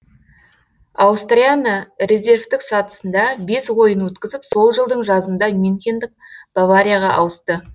аустрияны резервтік сатысында бес ойын өткізіп сол жылдың жазында мюнхендік баварияға ауысты